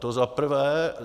To za prvé.